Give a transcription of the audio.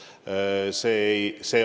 Tänan valitsusliikmeid, tänan küsijaid!